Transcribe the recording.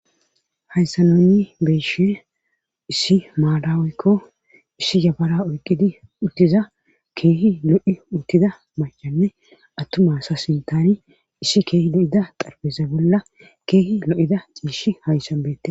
Hayssa nunni beeshe issi maadaweykko issi yabara oyqqidi uttiza keehi lo7i uttida machanne attumasa sintani issi keehi lo7ida xarbesa bolla keehi lo7ida ciishi hayssan beete.